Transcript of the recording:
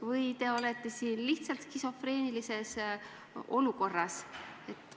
Või te olete siin lihtsalt skisofreenilises olukorras?